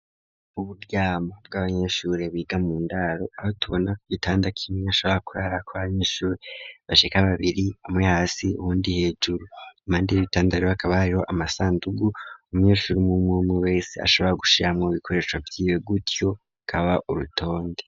Uburyamo, bw'abanyeshure biga mu ndaro, aho tubona ko igitanda kimwe ashobora kurarara k' abanyeshuri bashika babiri, umwe hasi uhundi hejuru, impandi y' bitanda hakaba hariho amasandugu umunyeshuri umwumwe wese ashobora gushiramwo ibikoresho vyiwe, gutyo kaba urutonde.